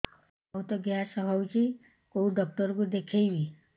ବହୁତ ଗ୍ୟାସ ହଉଛି କୋଉ ଡକ୍ଟର କୁ ଦେଖେଇବି